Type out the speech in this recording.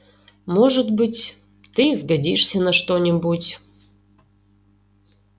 может быть ты и сгодишься на что-нибудь